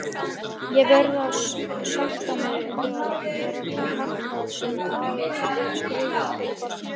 Ég verð að sætta mig við að vera karlmaður, sem aðeins er skrifaður fyrir barni.